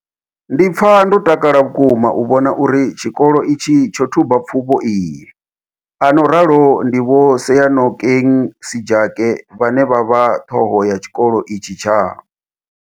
Ndi pfa ndo takala vhukuma u vhona uri tshikolo itshi tsho thuba pfufho iyi, a no ralo ndi Vho Seyanokeng Sejake vhane vha vha ṱhoho ya tshikolo itshi tsha.